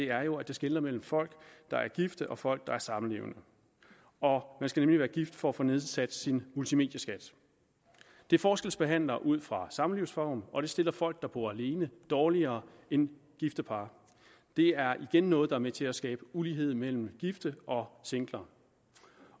er jo at det skelner mellem folk der er gift og folk der er samlevende man skal nemlig være gift for at få nedsat sin multimedieskat det forskelsbehandler ud fra samlivsform og det stiller folk der bor alene dårligere end gifte par det er igen noget der er med til at skabe ulighed mellem gifte og singler